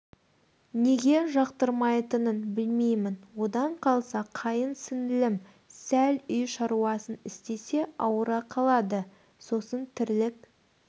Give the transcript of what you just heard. неге жақтырмайтынын білмеймін одан қалса қайын сіңлім сл үй шаруасын істесе ауыра қалады сосын тірлік